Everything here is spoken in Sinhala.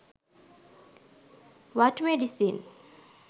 what medicine